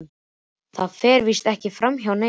Það fer víst ekki framhjá neinum.